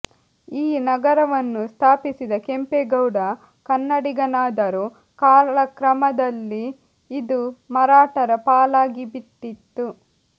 ಈ ನಗರವನ್ನು ಸ್ಥಾಪಿಸಿದ ಕೆಂಪೇಗೌಡ ಕನ್ನಡಿಗನಾದರೂ ಕಾಲಕ್ರಮದಲ್ಲಿ ಇದು ಮರಾಠರ ಪಾಲಾಗಿಬಿಟ್ಟಿತ್ತು